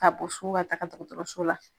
Ka bɔ so ka taga dɔkɔtɔrɔso la